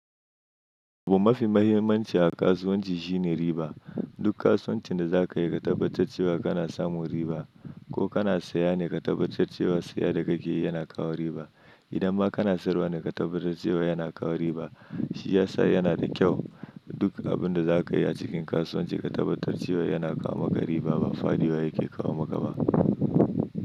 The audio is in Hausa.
Abu mafi mahimmanci a kasuwanci shine riba. Duk kasuwancin da za ka yi ka tabbatar cewa kana samun riba. Ko kana saye ne, ka tabbatar cewa saya da kake yi yana kawo riba. Idan ma kana sayarwa ne, ka tabbatar cewa yana kawo riba. Shi ya sa yana da kyau. Duk abin da za ka yi a cikin kasuwanci ka tabbatar cewa yana kawo maka riba ba faɗiwa yake kawo maka ba.